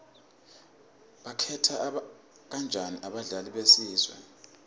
bakhetha kanjani abadlali besizwe